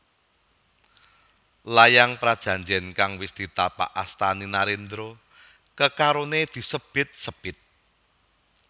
Layang prajanjen kang wis ditapak astani narendra kekarone disebit sebit